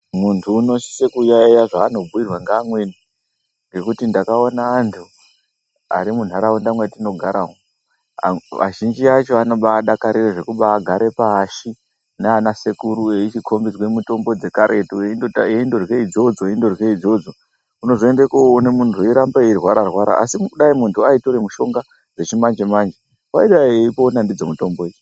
Muntu unosise kuyaiya zvaanobhuirwa ngeamweni ngekuti ndakaona antu ari munharaunda mwatinogara umwo azhinji anombaadakarira zvekubaagare pashi naanasekuru eichikhombidzwa mitombo yekaretu eichindorya idzodzo eindokurya idzodzo. Unoende kuzondoona munhu eirambe eindorwara arwara, asi dai munhu aitora mitombo dzona dzechimanje manje aidayi eitopona ndidzo mitombo idzi.